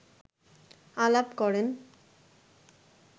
আলাপ করেন